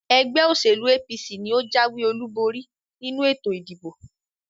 ẹgbẹ́-òsèlú APC ni ó jáwé-olúborí nínú ètò ìdìbò.